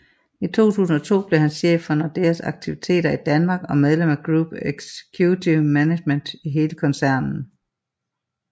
I 2002 blev han chef for Nordeas aktiviteter i Danmark og medlem af Group Executive Management i hele koncernen